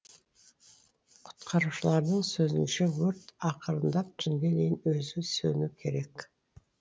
құтқарушылардың сөзінше өрт ақырындап түнге дейін өзі сөнуі керек